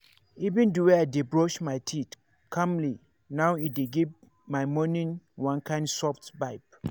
even the way i dey brush my teeth calmly now e dey give my morning one kind soft vibe.